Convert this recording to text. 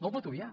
no el pot obviar